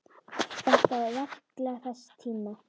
Þetta var verklag þess tíma.